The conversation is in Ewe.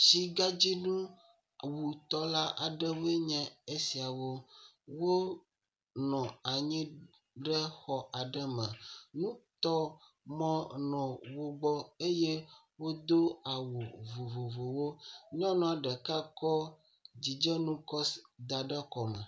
Tsigadzinu awutɔ la aɖewo enye esiawo. Wonɔ anyi ɖe xɔ aɖe me. Nutɔmɔ nɔ wogbɔ eye wodo awu vovovowo. Nyɔnu ɖeka tso dzidzenu da ɖe kɔme.